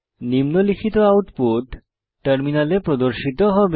নিম্নলিখিত আউটপুট টার্মিনালে প্রদর্শিত হবে